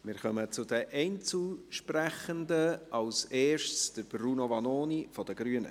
Wir kommen zu den Einzelsprechenden, zuerst zu Bruno Vanoni von den Grünen.